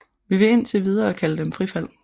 Vi vil indtil videre kalde dem frifald